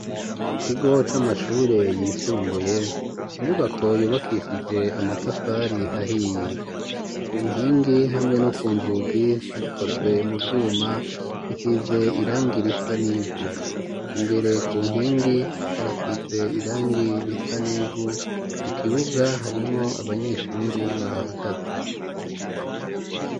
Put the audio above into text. Mu kigo c'amashure yisumbuye inyubako yubakishije amatafari ahiye ku nkingi hamwe no ku nzugi hakozwe mu vyuma bisize irangi risa n'ivu imbere ku nkingi harasize irangi risa nivu mu kibuga harimwo abanyeshure bahahagaze.